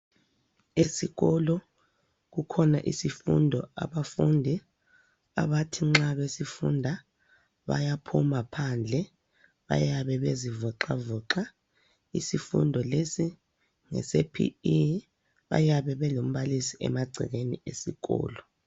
Esikolo kukhona isifundo abafundi abathi nxa besifunda bayaphuma phandle bayabe bezivoxavoxa, isifundo lesi ngese "PE" bayabe belombalisi emagcekeni esikolo.